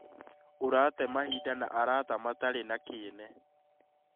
ũrate mahinda na arata matarĩ na kĩene